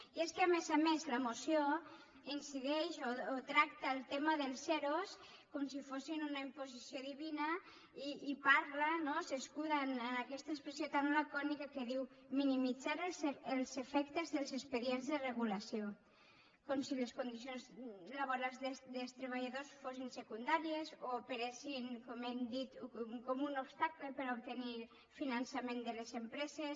i és que a més a més la moció incideix o tracta el tema dels ero com si fossin una imposició divina i parla no s’escuda en aquesta expressió tan lacònica que diu minimitzar els efectes dels expedients de regulació com si les condicions laborals dels treballadors fossin secundàries o operessin com hem dit com un obstacle per obtenir finançament de les empreses